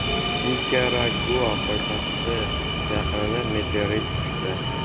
Nikaragua poytaxti yaqiniga meteorit tushdi.